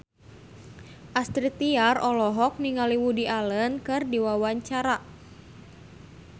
Astrid Tiar olohok ningali Woody Allen keur diwawancara